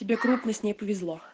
тебе крупно с ней повезло